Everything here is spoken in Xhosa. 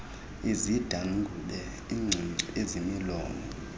izidwangube iingcungcu ezimilomo